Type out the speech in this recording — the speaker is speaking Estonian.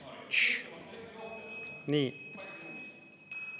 Tss!